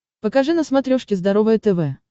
покажи на смотрешке здоровое тв